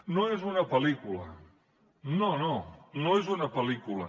no és una pel·lícula no no és una pel·lícula